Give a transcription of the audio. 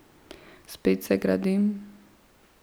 Spet se gradim.